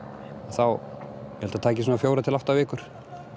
þá held það taki svona fjórir til átta vikur